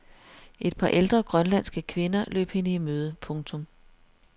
Et par ældre grønlandske kvinder løb hende i møde. punktum